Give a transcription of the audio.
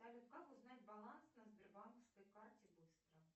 салют как узнать баланс на сбербанковской карте быстро